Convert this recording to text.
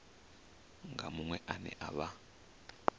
na muṅwe ane a vha